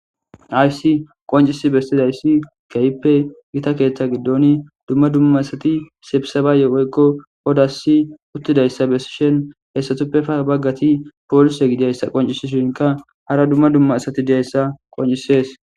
aysi qoncisi bestidayssi keyppe gita keeththa giddon dumma dumma asati sebisabayeoykko odasi uttidayssa bessishen hessatuppefa baggati poolise gidiyayssa qoncisishinka hara dumma dumma asati diyayssa qoncisees